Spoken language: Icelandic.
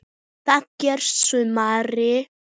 Það gerði Smári.